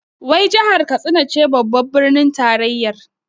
Wai jahar Katsina ce babbar birnin tarayyar?